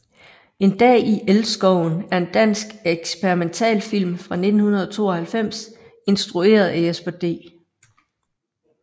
En dag i elskoven er en dansk eksperimentalfilm fra 1992 instrueret af Jesper D